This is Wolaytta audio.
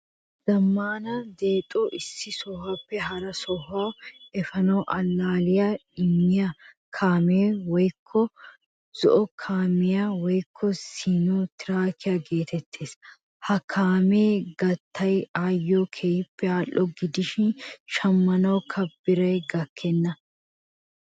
Zammaana dexxoba issi sohuwaappe hara sohuwaa efanawu allaliyaa immiyaa kaame wogga zo'o kaamiyaa woykko siino tiraakiyaa geetees. Ha kaame gattekka ayo keehin al'o gidishin shammanawukka biray gakkena.